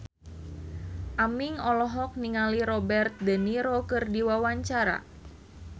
Aming olohok ningali Robert de Niro keur diwawancara